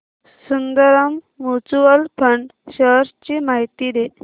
Sundaram Mutual Fund shares ची माहिती दे